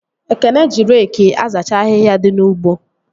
Ekene ji reki azacha ahịhịa dị n'ugbo